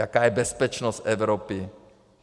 Jaká je bezpečnost Evropy.